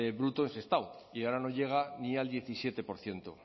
bruto en sestao y ahora no llega ni al diecisiete por ciento